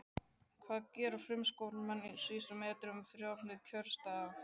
hvað gera framsóknarmenn á síðustu metrunum fyrir opnun kjörstaða?